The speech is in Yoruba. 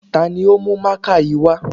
Ta ni ò ní ó mú mákà yìí wá?